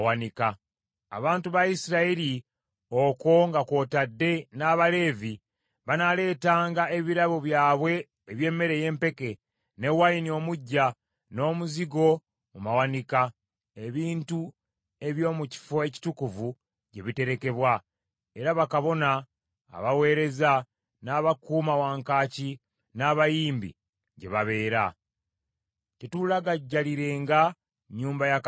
Abantu ba Isirayiri okwo nga kw’otadde n’Abaleevi, banaaleetanga ebirabo byabwe eby’emmere ey’empeke, ne wayini omuggya, n’omuzigo mu mawanika, ebintu eby’omu kifo ekitukuvu gye biterekebwa, era bakabona abaweereza, n’abakuuma wankaaki n’abayimbi gye babeera. “Tetuulagajjalirenga nnyumba ya Katonda waffe.”